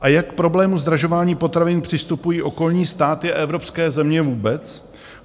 A jak k problému zdražování potravin přistupují okolní státy a evropské země vůbec?